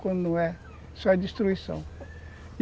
Quando não é, isso é destruição.